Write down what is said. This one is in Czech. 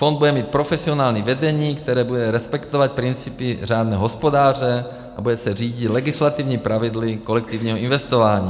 Fond bude mít profesionální vedení, které bude respektovat principy řádného hospodáře a bude se řídit legislativními pravidly kolektivního investování.